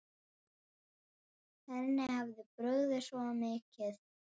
Henni hafði brugðið svo mikið.